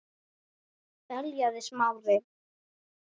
beljaði Smári.